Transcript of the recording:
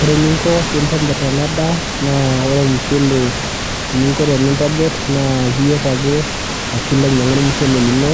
Ore eninko peintobir ena daa naa ore ormushele eninko peyie intobir naa iyier ake ashu ilo ainyiangu ormushele lino ,